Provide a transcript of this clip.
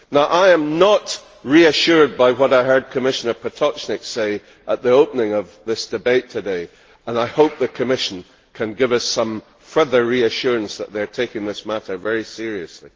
I am not reassured by what I heard Commissioner Potočnik say at the opening of this debate today and I hope the Commission can give us some further reassurance that they are taking this matter very seriously.